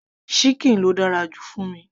síkìn ló dára jù fún mi